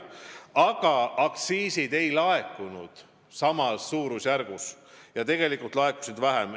Samas aktsiisid ei laekunud eeldatud suurusjärgus, neid laekus vähem.